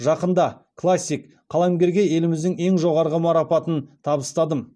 жақында классик қаламгерге еліміздің ең жоғарғы марапатын табыстадым